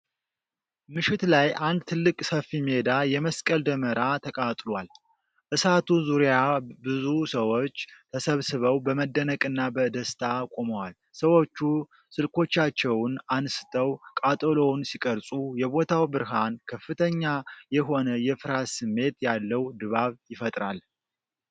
ምሽት ላይ አንድ ትልቅ ሰፊ ሜዳ የመስቀል ደመራ ተቃጥሏል። እሳቱ ዙሪያ ብዙ ሰዎች ተሰብስበው በመደነቅና በደስታ ቆመዋል። ሰዎቹ ስልኮቻቸውን አንስተው ቃጠሎውን ሲቀርፁ የቦታው ብርሃን ከፍተኛ የሆነ የፍርሃት ስሜት ያለው ድባብ ይፈጥራል።